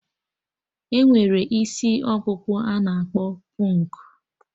Enwere isi ọkpụkpụ a na-akpọ pụnk